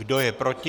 Kdo je proti?